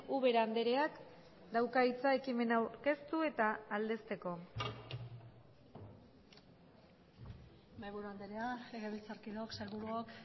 ubera andreak dauka hitza ekimena aurkeztu eta aldezteko mahaiburu andrea legebiltzarkideok sailburuok